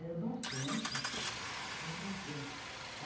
Era bastante, era bastante.